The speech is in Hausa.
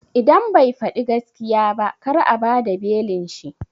Idan bai faɗi gaskiya ba kar a bada belin shi